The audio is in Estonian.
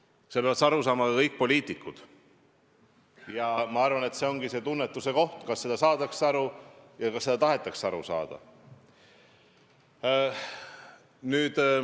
Sellest peavad aru saama kõik poliitikud ja ma arvan, et asi ongi tunnetuses, kas sellest saadakse aru ja kas sellest tahetakse aru saada.